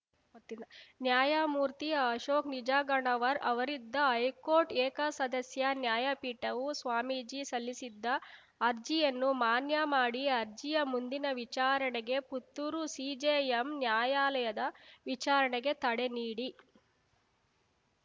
ಗೊತ್ತಿಲ್ಲ ನ್ಯಾಯಮೂರ್ತಿ ಅಶೋಕ್‌ ನಿಜಗಣ್ಣವರ್‌ ಅವರಿದ್ದ ಹೈಕೋರ್ಟ್‌ ಏಕಸದಸ್ಯ ನ್ಯಾಯಪೀಠವು ಸ್ವಾಮೀಜಿ ಸಲ್ಲಿಸಿದ್ದ ಅರ್ಜಿಯನ್ನು ಮಾನ್ಯ ಮಾಡಿ ಅರ್ಜಿಯ ಮುಂದಿನ ವಿಚಾರಣೆಗೆ ಪುತ್ತೂರು ಸಿಜೆಎಂ ನ್ಯಾಯಾಲಯದ ವಿಚಾರಣೆಗೆ ತಡೆ ನೀಡಿ